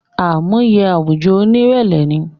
Àmúye àwùjọ oní ìrẹlẹ ni